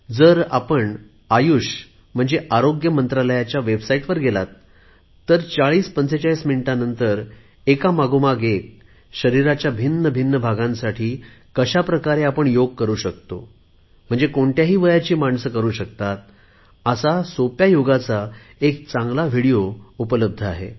जर आपण आयुष आरोग्य मंत्रालयाच्या वेबसाईटवर गेलात तर 4045 मिनिटानंतर एका मागोमाग एक शरीराच्या भिन्न भिन्न भागांसाठी कशाप्रकारे योग करु शकतो कोणत्याही वयाची माणसे करु शकतात असा सोप्या योगाचा एक चांगला विडिओ या वेबसाईटवर उपलब्ध आहे